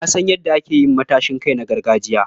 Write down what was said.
Na san yadda ake yin matashin kai na gargajiya.